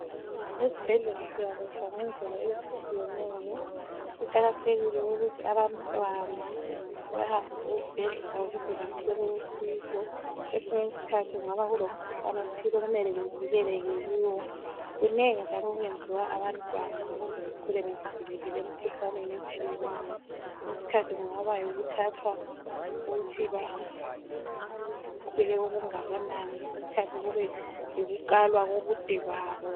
Ezibhedlela siyalatshwa ngendlela ezitshiyeneyo. Kuqakathekile ukuthi abantwana sibahambise ezibhedlela ukuze bethole usizo kwesinye isikhathi kungaba kulomkhuhlane othile okumele bevikelekele kiwo, kunengi njalo okwenziwa abantwana ukuze bekhule bevikelekile emkhuhlaneni etshiyeneyo kwesinye isikhathi kungabe yikuthathwa ukuthi bakhule okungakanani kwesinye isikhathi kube yikukalwa kobude babo.